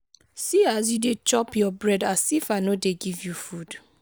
see as you dey chop your bread as if i no dey give you food